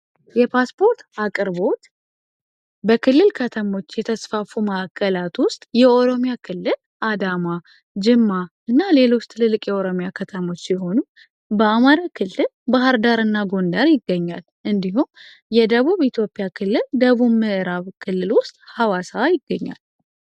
የፓስፖርት አቅርቦት በክልል ከተሞች የተስፋፉ ማዕከላት ውስጥ የኦሮሚያ ክልል አዳማ ጅማ እና ሌሎች ትልልቅ የኦሮሚያ ከተሞች ሲሆኑ በአማራ ክልል ባህር ዳር እና ጎንደር ይገኛል። እንዲሁም የደቡብ ኢትዮጵያ ክልል ደቡብ ምዕራብ ክልሎች ሐዋሳ ይገኛል